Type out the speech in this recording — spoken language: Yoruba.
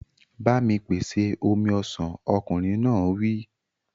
Ba mi pèsè omi ọsàn! Ọkùnrin náà wí.